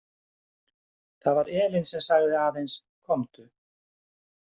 Það var Elín sem sagði aðeins: Komdu.